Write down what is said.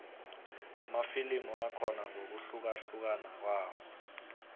amafilimu akhona ngokuhlukahlukana kwawo